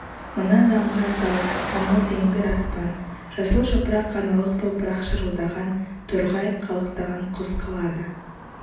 мына заңғар тау анау зеңгір аспан жасыл жапырақ аналық топырақ шырылдаған торғай қалықтаған құс қалады